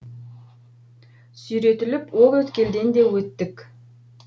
сүйретіліп ол өткелден де өттік